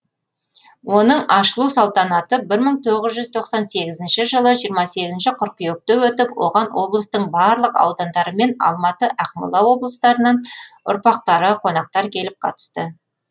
оның ашылу салтанаты бір мың тоғыз жүз тоқсан сегізінші жылы жиырма сегізінші қыркүйекте өтіп оған облыстың барлық аудандары мен алматы ақмола облыстарынан ұрпақтары қонақтар келіп қатысты